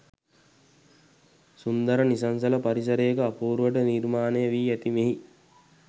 සුන්දර නිසංසල පරිසරයක අපූරුවට නිර්මාණයවී ඇති මෙහි